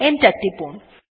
enter টিপুন